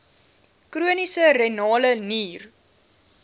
chroniese renale nier